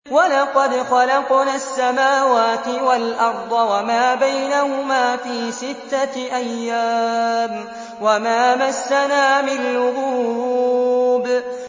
وَلَقَدْ خَلَقْنَا السَّمَاوَاتِ وَالْأَرْضَ وَمَا بَيْنَهُمَا فِي سِتَّةِ أَيَّامٍ وَمَا مَسَّنَا مِن لُّغُوبٍ